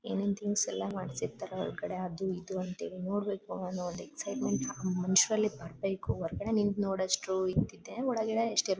ಏನೇನ್ ಥಿಂಗ್ಸ್ ಎಲ್ಲ ಮಾಡ್ತಿರ್ತಾರೆ ಹೊರಗಡೆ ಅದು ಇದು ಅಂತೇಳಿ ನೋಡ್ಬೇಕು ನಾನು ಎಕ್ಸಿಟ್ಮೆಂಟ್ ಮನುಷ್ಯರಲ್ಲಿ ಬರ್ಬೇಕು ಹೊರಗಡೆ ನಿಂತು ನೋಡುವಷ್ಟು ಇರ್ತಿದ್ದೆ ಒಳಗಡೆ ಇಷ್ಟು --